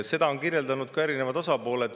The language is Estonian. Seda on kirjeldanud erinevad osapooled.